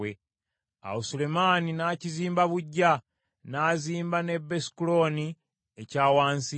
Awo Sulemaani n’akizimba buggya; n’azimba ne Besukolooni ekya wansi,